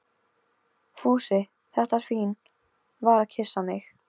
Fúsi, þetta svín, var að kyssa mig.